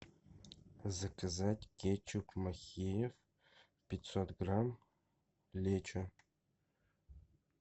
заказать кетчуп махеев пятьсот грамм лечо